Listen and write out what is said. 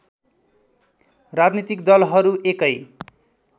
राजनीतिक दलहरू एकै